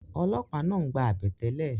ọlọ́pàá náà ń gba àbẹ̀tẹ́lẹ̀